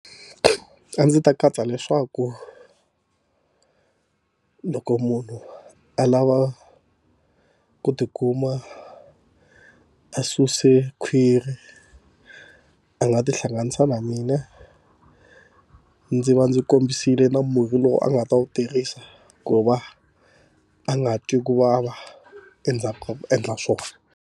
A ndzi ta katsa leswaku loko munhu a lava ku tikuma a susile khwiri a nga tihlanganisa na mina ndzi va ndzi kombisile na murhi lowu a nga ta wu tirhisa ku va a nga twi ku vava endzhaku ka ku endla swona.